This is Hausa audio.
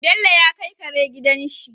Bello ya kai Kare gidan shi